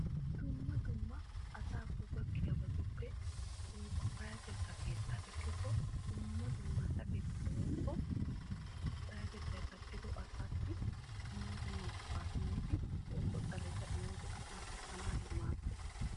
Dumma dumma asaakko gakkiyabattuppe payatetta keetta ekkikko sakettiya asaassi dumma dumma go'a woykko xaletta imiddi asaa pattanawu maadosonna.